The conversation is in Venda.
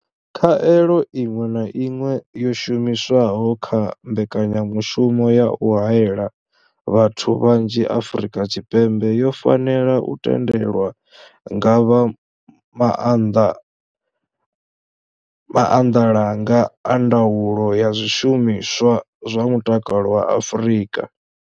Khaelo iṅwe na iṅwe yo shumiswaho kha mbekanyamushumo ya u haela vhathu vhanzhi Afrika Tshipembe yo fanela u tendelwa nga vha maanḓalanga a ndaulo ya zwishumiswa zwa mutakalo vha Afrika.